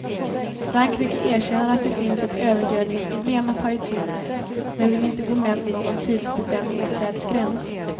Frankrike erkänner att det finns ett övergödningsproblem att ta itu med men vill inte gå med på någon tidsbestämd åtgärdsgräns.